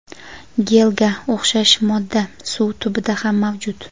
gelga o‘xshash modda suv tubida ham mavjud.